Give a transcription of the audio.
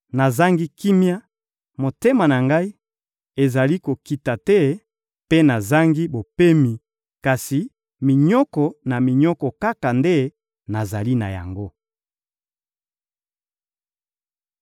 Nazangi kimia, motema na ngai ezali kokita te mpe nazangi bopemi; kasi minyoko na minyoko kaka nde nazali na yango.»